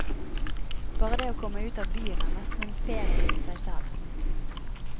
Bare det å komme ut av byen er nesten en ferie i seg selv.